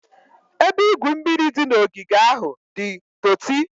Ebe igwu mmiri dị n'ogige ahụ di doti.